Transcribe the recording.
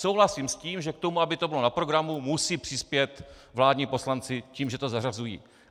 Souhlasím s tím, že k tomu, aby to bylo na programu, musí přispět vládní poslanci tím, že to zařazují.